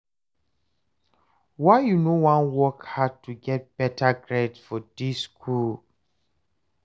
why you no wan work hard to get better grades for dis school?